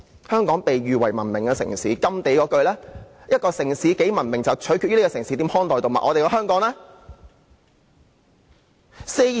香港被譽為文明的城市，而甘地的名言是一個城市有多文明，就取決於這城市如何看待動物。